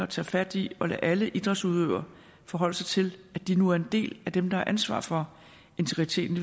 tage fat i og lade alle idrætsudøvere forholde sig til at de nu er en del af dem der har ansvaret for integriteten